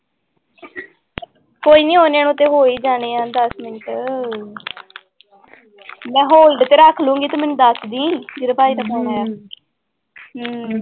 ਕੋਈ ਨੀ ਓਨੇ ਨੂੰ ਤੇ ਹੋ ਹੀ ਜਾਣੇ ਹੈ ਦਸ ਮਿੰਟ ਮੈਂ hold ਤੇ ਰੱਖ ਲਊਂਗੀ ਤੂੰ ਮੈਨੂੰ ਦੱਸ ਦੇਈਂ, ਜਦੋਂ ਭਾਈ ਦਾ phone ਆਇਆ ਹਮ